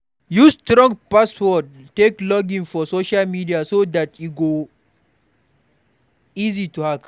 Use strong password take login for social media so dat e no go easy to hack